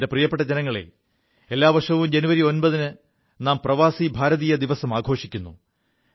പ്രിയപ്പെ ജനങ്ങളേ എല്ലാ വർഷവും ജനുവരി 9 ന് നാം പ്രവാസി ഭാരതീയ ദിവസം ആഘോഷിക്കുു